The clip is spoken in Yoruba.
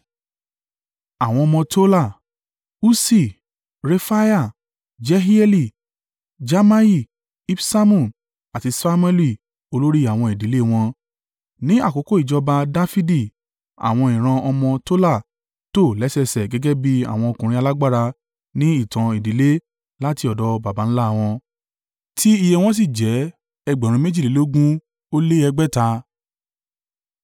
Àwọn ọmọ Tola: Ussi, Refaiah, Jehieli, Jamai, Ibsamu àti Samuẹli olórí àwọn ìdílé wọn. Ní àkókò ìjọba, Dafidi, àwọn ìran ọmọ Tola tò lẹ́sẹẹsẹ gẹ́gẹ́ bí àwọn ọkùnrin alágbára ní ìtàn ìdílé láti ọ̀dọ̀ baba ńlá wọn, tí iye wọn sì jẹ́ ẹgbẹ̀rún méjìlélógún ó lé ẹgbẹ̀ta (22,600).